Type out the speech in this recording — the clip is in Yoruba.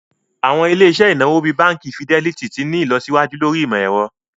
Awọn ilẹ̀-iṣẹ̀ inawo bíì Bánkì Fìdẹlìtì ti n ni ilọsiwaju lórí imọ̀-ẹ̀rọ̀.